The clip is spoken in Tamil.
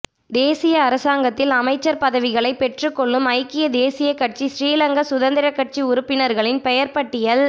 தேசிய அரசாங்கத்தில் அமைச்சர் பதவிகளை பெற்று கொள்ளும் ஐக்கிய தேசிய கட்சி ஸ்ரீலங்கா சுதந்திர கட்சி உறுப்பினர்களின் பெயர் பட்டியல்